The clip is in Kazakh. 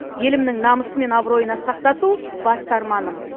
елімнің намысы мен абыройын асқақтату басты арманым